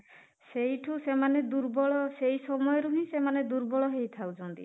ସେଇଠୁ ସେମାନେ ଦୁର୍ବଳ ସେଇ ସମୟରୁ ହିଁ ସେମାନେ ଦୁର୍ବଳ ହେଇଥାଉଛନ୍ତି